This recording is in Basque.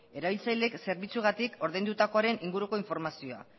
erabiltzaileek zerbitzuagatik ordaindutakoaren inguruko informazioa